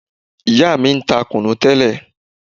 Ìyá mi ta kùnú tẹ́lẹ̀.